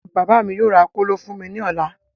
Bàbá mí yóò ra kóló fún mí ní ọ̀la